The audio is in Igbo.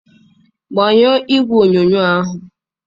gbanyụọ igwe onyonyo ahụ